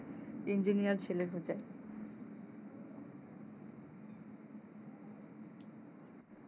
engeener ছেলে খুজে।